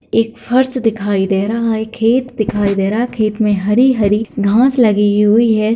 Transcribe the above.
एक फर्श दिखाई दे रहा है एक खेत दिखाई दे रहा है खेत में हरी-हरी घास लगी हुई है।